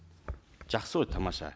жақсы ғой тамаша